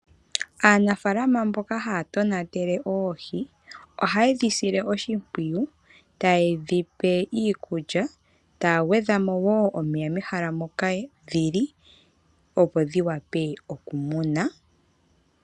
Aanafaalama mboka haya tonatele oohi, ohaye dhi sile oshimpwiyu taye dhi pe iikulya taya gwedha mo woo omeya mehala moka dhili opo dhiwape okumunwa.